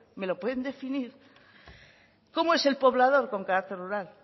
me lo pueden definir cómo es el poblador con carácter rural